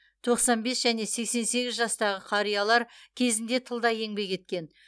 тоқсан бес және сексен сегіз жастағы қариялар кезінде тылда еңбек еткен